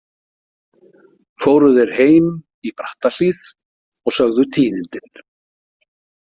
Fóru þeir heim í Brattahlíð og sögðu tíðindin.